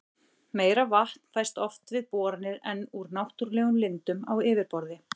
Meira vatn fæst oft við boranir en úr náttúrlegum lindum á yfirborði.